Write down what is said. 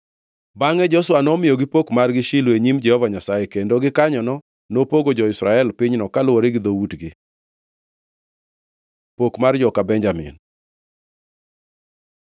Bangʼe Joshua nomiyogo pok margi Shilo e nyim Jehova Nyasaye, kendo gikanyono nopogo jo-Israel pinyno kaluwore gi dhoutgi. Pok mar joka Benjamin